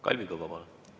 Kalvi Kõva, palun!